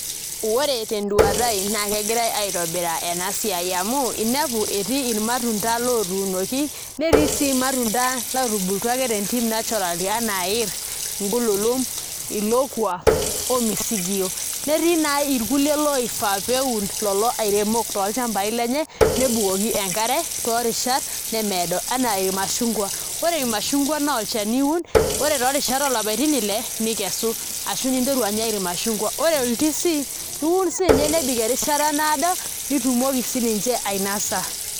Ore tenduata aai naa kegirai aitobiraa ena siai amu inepu etii irmatunda otuunoki netii sii irmatunda ootubulutua ake naturally tentim enaa iirr, ingululum, ilokua ormisigiyio netii naa irkulie oifaa pee eun ilairemok tolchambai lenye nebukoki enkare toorishat lemeedo enaa irmashungwa, ore irmashungwa naa olchani iun ore toorishat oolapaitin ile nikesu ashu ninterru anya irmashungwa ore oldizi iun siinye nebik erishata naado nitumoki sininche ainasa.